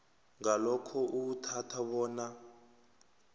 ngalokho uwuthatha bona